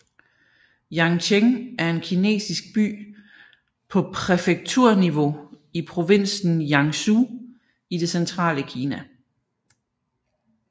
Yancheng er en kinesisk by på præfekturniveau i provinsen Jiangsu i det centrale Kina